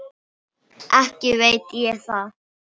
Ekki veit ég það.